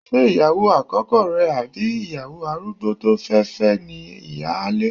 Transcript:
Ṣé ìyàwó àkọ́kọ́ rẹ àbí ìyàwó arúgbó tó fẹ́ fẹ́ ni ìyáálé?